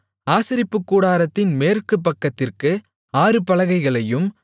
ஆசரிப்புக்கூடாரத்தின் மேற்கு பக்கத்திற்கு ஆறு பலகைகளையும்